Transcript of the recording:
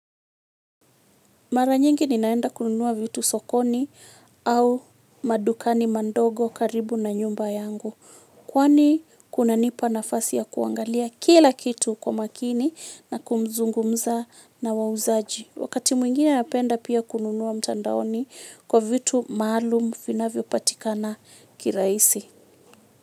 Mara nyingi ninaenda kununua vitu sokoni au madukani madogo karibu na nyumba yangu. Kwani kunanipa nafasi ya kuangalia kila kitu kwa makini na kuzungumza na wauzaji. Wakati mwingine napenda pia kununua mtandaoni kwa vitu maalum vinavyopatikana kirahisi.